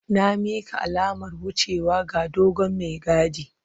Na mika alamar wucewa ga dogon mai gadin.